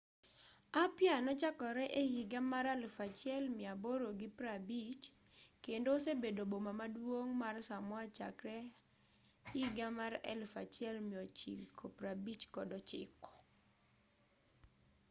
apia nochakore e higa mar 1850 kendo osebedo boma maduong' mar samoa chakre 1959